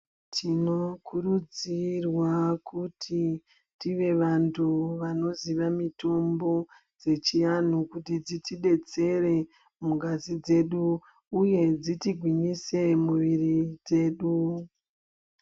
Tinokurudzirwa kuti tive vantu vanoziva mitombo dzeechiantu kuti dzitidetsere mungazi dzedu uye kuti dzitigwinyise muviri dzedu.